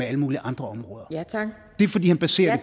alle mulige andre områder det er fordi han baserer